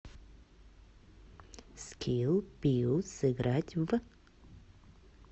скилл пиу сыграть в